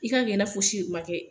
I ka kɛ i n'a fosi ma kɛ.